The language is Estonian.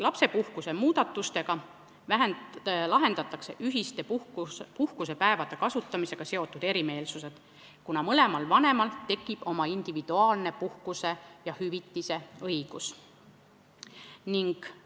Lapsepuhkuse muudatustega lahendatakse ühiste puhkusepäevade kasutamisega seotud erimeelsused, kuna mõlemal vanemal tekib oma individuaalne puhkuse ja hüvitise saamise õigus.